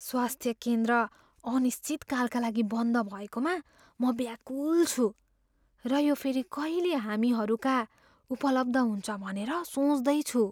स्वास्थ्य केन्द्र अनिश्चितकालका लागि बन्द भएकोमा म व्याकुल छु र यो फेरि कहिले हामीहरूका उपलब्ध हुन्छ भनेर सोच्दैछु।